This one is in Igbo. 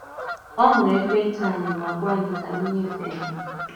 Ọ̀ hụrụ̀ ekwèntị̄ anyị̄ mà gwà̀ anyị̄ ka anyị̄ nyèfè̄é̄ ha.